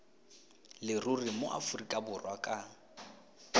leruri mo aforika borwa ka